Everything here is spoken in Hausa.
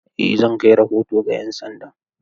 Eh zan kai rahoto ga 'yan sanda.